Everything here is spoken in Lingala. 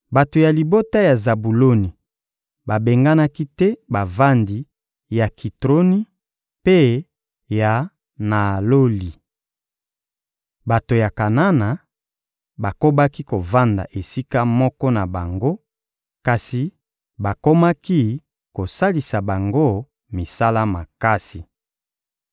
Bato ya libota ya Zabuloni babenganaki te bavandi ya Kitroni mpe ya Naaloli. Bato ya Kanana bakobaki kovanda esika moko na bango, kasi bakomaki kosalisa bango misala makasi.